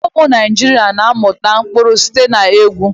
Ụmụ Naijiria na-amụta ụkpụrụ site na egwu.